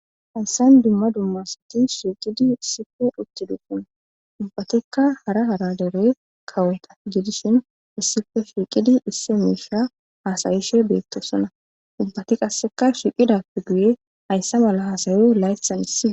Hansan dumma dummasati shiiqidi issife utti duufuna ubbatikka hara haradere kawota gidishin issife shiiqidi isse miisha haasayishe beettosona ubbati qasseka shiqidappe guye hayssa mala hasayu layssan issi..